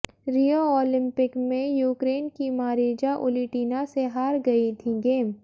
रियो Olympic में Ukraine की Marija Ulitina से हार गई थीं गेम